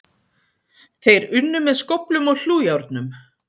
Þeir unnu með skóflum og hlújárnum.